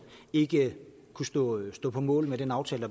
ikke kunne stå mål med den aftale